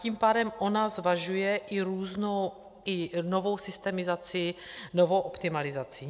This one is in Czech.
Tím pádem ona zvažuje i různou i novou systemizaci, novou optimalizaci.